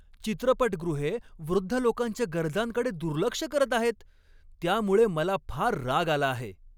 चित्रपटगृहे वृद्ध लोकांच्या गरजांकडे दुर्लक्ष करत आहेत त्यामुळे मला फार राग आला आहे.